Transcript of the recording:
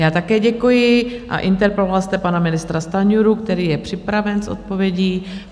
Já také děkuji a interpeloval jste pana ministra Stanjuru, který je připraven s odpovědí.